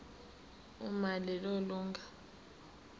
uma lelo lunga